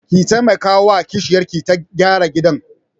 Ki taimakawa wa kishiyarki ta gyara gidan.